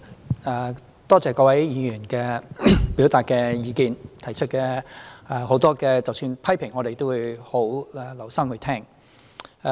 主席，多謝各位議員表達的意見，即使很多是批評，我們也會留心聆聽。